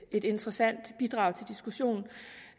et interessant bidrag til diskussionen